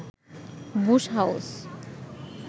Bush house